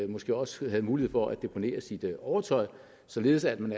måske også er en mulighed for at deponere sit overtøj således at man